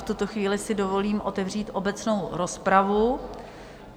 V tuto chvíli si dovolím otevřít obecnou rozpravu.